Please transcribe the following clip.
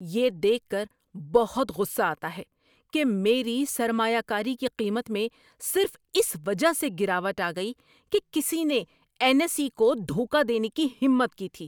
یہ دیکھ کر بہت غصہ آتا ہے کہ میری سرمایہ کاری کی قیمت میں صرف اس وجہ سے گراوٹ آ گئی کہ کسی نے این ایس ای کو دھوکہ دینے کی ہمت کی تھی۔